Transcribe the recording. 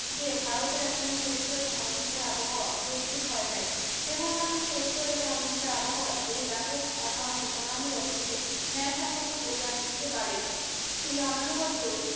যে ভারতে এখনো সত্য এবং কংগ্রেসের আবহাওয়া প্রস্তুত হয় নাই কেবলমাত্র সত্য এবং অহিংসার আবহাওয়ায় এই ব্যাপক আনাহ অনানু বাধোকে নাড়াসংহত কোরিয়া তুলিতে পারে এই অনানুবাদ তো